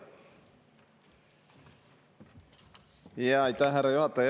Aitäh, härra juhataja!